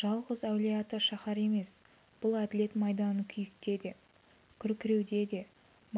жалғыз әулие-ата шаһары емес бұл әділет майданын күйікте де күркіреуде де